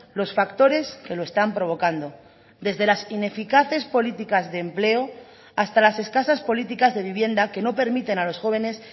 los factores que lo están provocando desde las ineficaces políticas de empleo hasta las escasas políticas de vivienda que no permiten a los jóvenes